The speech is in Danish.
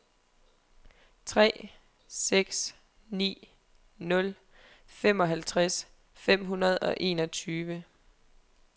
tre seks ni nul femoghalvtreds fem hundrede og enogtyve